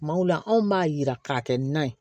Kumaw la anw b'a jira k'a kɛ nan ye